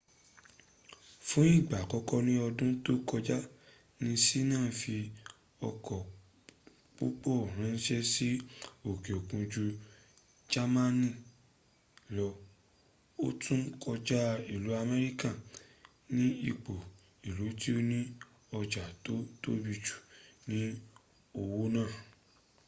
fún ìgbà àkọ́kọ́ ní ọdún tó kọjá ní ṣina fí ọkọ̀ púpọ̀ ránṣẹ́ sí òkè òkun jú jamani lọ o tún kọjá ilu amerika ni ipò ilu tó ní ọjà tó tóbi jù nínú òwò náà